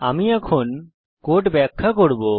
আমি এখন কোড ব্যাখ্যা করব